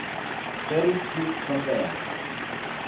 paris peace conference